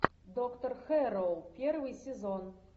доктор хэрроу первый сезон